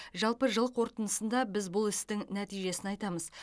жалпы жыл қорытындысында біз бұл істің нәтижесін айтамыз